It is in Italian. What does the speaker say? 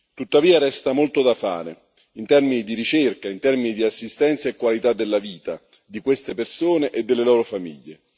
Tuttavia, resta molto da fare in termini di ricerca, in termini di assistenza e qualità della vita di queste persone e delle loro famiglie.